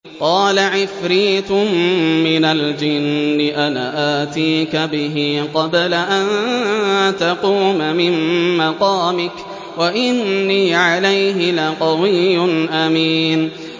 قَالَ عِفْرِيتٌ مِّنَ الْجِنِّ أَنَا آتِيكَ بِهِ قَبْلَ أَن تَقُومَ مِن مَّقَامِكَ ۖ وَإِنِّي عَلَيْهِ لَقَوِيٌّ أَمِينٌ